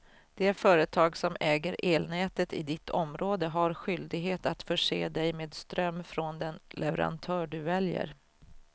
Det företag som äger elnätet i ditt område har skyldighet att förse dig med ström från den leverantör du väljer.